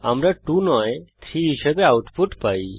আমরা 2 নয় 3 হিসাবে আউটপুট পাই